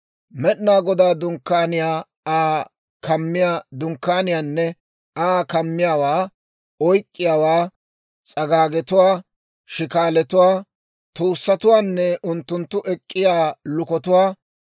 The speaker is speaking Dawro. Med'inaa Godaa Dunkkaaniyaa, Aa kammiyaa dunkkaaniyaanne Aa kammiyaawaa, oyk'k'iyaawaa, s'agaagetuwaa, shikaalatuwaa, tuussatuwaanne unttunttu ek'k'iyaa lukotuwaa,